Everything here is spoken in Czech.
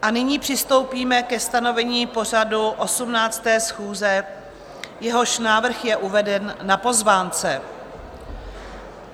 A nyní přistoupíme ke stanovení pořadu 18. schůze, jehož návrh je uveden na pozvánce.